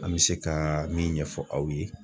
An me se ka min ɲɛfɔ aw ye